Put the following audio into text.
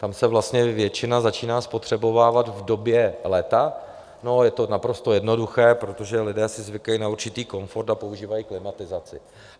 Tam se vlastně většina začíná spotřebovávat v době léta a je to naprosto jednoduché - protože lidé si zvykli na určitý komfort a používají klimatizaci.